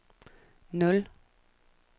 nul